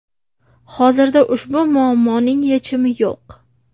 Hozirda ushbu muammoning yechimi yo‘q.